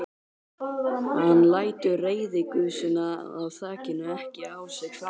Hann lætur reiðigusuna af þakinu ekki á sig fá.